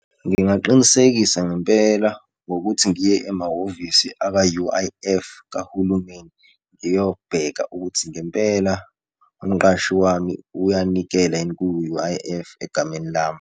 Ngingaqinisekisa ngempela ngokuthi ngiye emahhovisi aka-U_I_F kahulumeni, ngiyobheka ukuthi ngempela umqashi wami uyanikelani ku-U_I_F egameni lami.